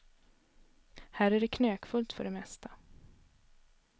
Här är det knökfullt för det mesta.